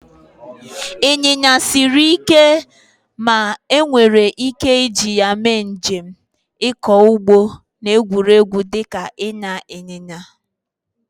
Ịnyịnya siri ike ma enwere ike iji ya mee njem, ịkọ ugbo, na egwuregwu dịka ịnya ịnyịnya.